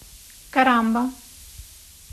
карамба